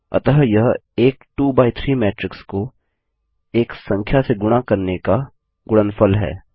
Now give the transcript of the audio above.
अतः यह एक 2 बाय 3 मैट्रिक्स को एक संख्या से गुणा करने का गुणनफल है